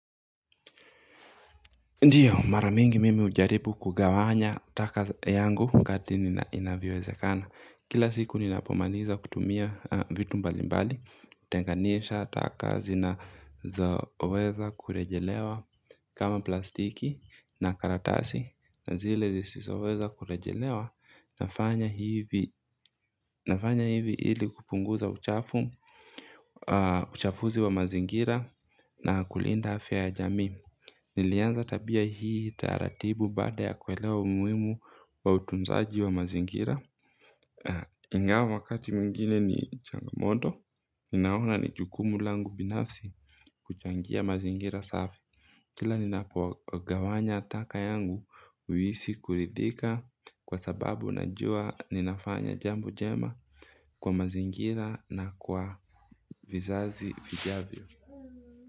Ndiyo mara mingi mimi hujaribu kugawanya taka yangu wakati inavyowezekana. Kila siku ninapomaliza kutumia vitu mbalimbali hutenganisha taka zinazoweza kurejelewa. Kama plastiki na karatasi na zile zisizoweza kurejelewa nafanya nafanya hivi ili kupunguza uchafu. Uchafuzi wa mazingira na kulinda afya ya jamii. Nilianza tabia hii taratibu baada ya kuelewa umuhimu wa utunzaji wa mazingira. Ingawa wakati mwingine ni changamoto. Ninaona ni jukumu langu binafsi kuchangia mazingira safi. Kila ninapogawanya taka yangu huhisi kuridhika kwa sababu najua ninafanya jambo jema kwa mazingira na kwa vizazi vijavyo.